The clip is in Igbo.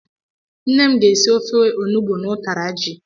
Nne m ga-esi ofe ọnụgbu na ụtara jị.